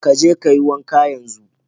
Ka je ka yi wanka yenzu!